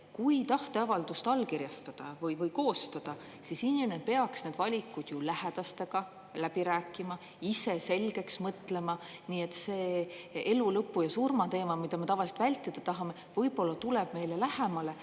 Kui tahteavaldust allkirjastada või koostada, siis inimene peaks need valikud lähedastega läbi rääkima, ise selgeks mõtlema, nii et see elu lõpu ja surma teema, mida me tavaliselt vältida tahame, võib-olla tuleb meile lähemale.